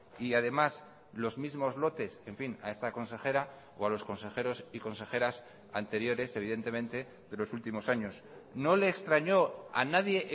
y además los mismos lotes en fin a esta consejera o a los consejeros y consejeras anteriores evidentemente de los últimos años no le extrañó o a nadie